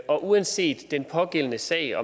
og uanset den pågældende sag